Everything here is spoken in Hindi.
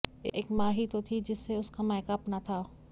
एक मा ही तो थी जिससे उसका मायका अपना था